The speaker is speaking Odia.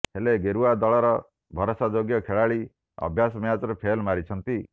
ହେଲେ ଗେରୁଆ ଦଳର ଭରଷାଯୋଗ୍ୟ ଖେଳାଳି ଅଭ୍ୟାସ ମ୍ୟାଚରେ ଫେଲ ମାରିଛନ୍ତି